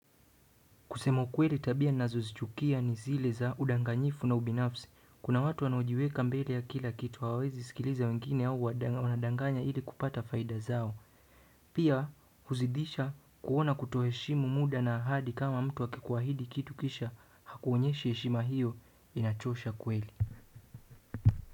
Kusema kweli tabia ninazo zichukia ni zile za udanganyifu na ubinafsi. Kuna watu wanaojiweka mbele ya kila kitu hawawezi sikiliza wengine au wanadanganya ili kupata faida zao. Pia huzidisha kuona kutoheshimu muda na ahadi kama mtu akikuahidi kitu kisha hakuonyeshi heshima hiyo inachosha kweli.